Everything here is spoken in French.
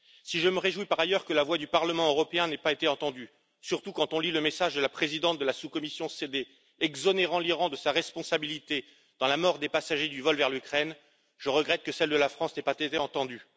Si je me réjouis par ailleurs que la voix du Parlement européen n'ait pas été entendue surtout quand on lit le message de la présidente de la sous commission sécurité et défense, exonérant l'Iran de sa responsabilité dans la mort des passagers du vol vers l'Ukraine je regrette que celle de la France n'ait pas été entendue.